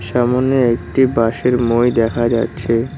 সামোনে একটি বাশের মই দেখা যাচ্ছে।